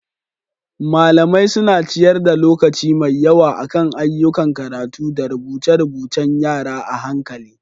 Malamai suna ciyar da lokaci mai yawa akan ayyukan karatu da rubuce-rubuce.ng yara a hankali.